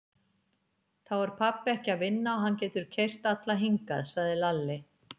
Þá er pabbi ekki að vinna og hann getur keyrt alla hingað, sagði Lalli.